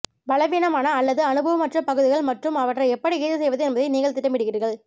பலவீனமான அல்லது அனுபவமற்ற பகுதிகள் மற்றும் அவற்றை எப்படி ஈடு செய்வது என்பதை நீங்கள் திட்டமிடுகிறீர்கள்